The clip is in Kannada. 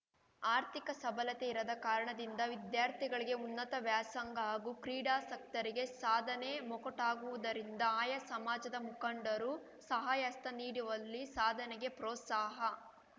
ಆರ್ಥಿಕ ಸಬಲತೆ ಇರದ ಕಾರಣದಿಂದ ವಿದ್ಯಾರ್ಥಿಗಳಿಗೆ ಉನ್ನತ ವ್ಯಾಸಾಂಗ ಹಾಗೂ ಕ್ರೀಡಾಸಕ್ತರಿಗೆ ಸಾಧನೆ ಮೊಕಟಗುವುದರಿಂದ ಆಯಾ ಸಮಾಜದ ಮುಖಂಡರು ಸಹಾಯಹಸ್ತ ನೀಡುವಲ್ಲಿ ಸಾಧನೆಗೆ ಪ್ರೋಸ್ಸಾಹ